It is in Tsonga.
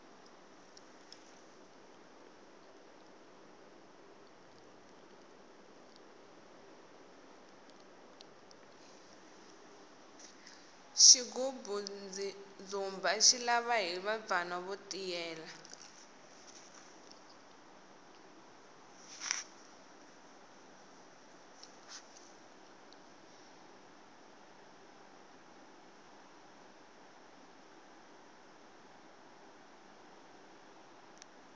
xigubu ndzumba xi lava hiva bvana vo tiyela